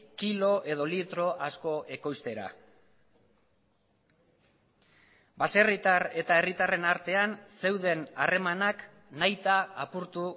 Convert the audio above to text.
kilo edo litro asko ekoiztera baserritar eta herritarren artean zeuden harremanak nahita apurtu